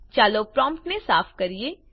ચાલો પ્રોમ્પ્ટને સાફ કરીએ